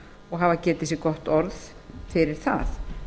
og hafa getið sér gott orð fyrir það